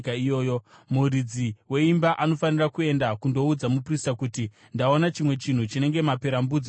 muridzi weimba anofanira kuenda kundoudza muprista kuti, ‘Ndaona chimwe chinhu chinenge maperembudzi mumba mangu.’